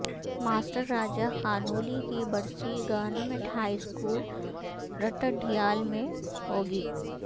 master Raja Khanoli کی برسی government high school Ratta Dadyal میں ہو گی